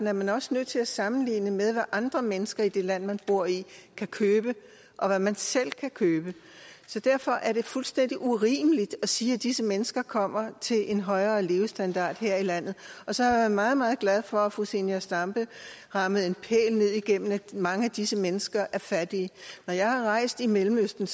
er man også nødt til at sammenligne med hvad andre mennesker i det land man bor i kan købe og hvad man selv kan købe derfor er det fuldstændig urimeligt at sige at disse mennesker kommer til en højere levestandard her i landet så er jeg meget meget glad for at fru zenia stampe rammede en pæl ned igennem at mange af disse mennesker er fattige når jeg har rejst i mellemøsten